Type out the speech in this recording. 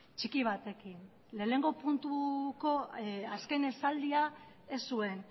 txiki batekin lehenengo puntuko azken esaldia ez zuen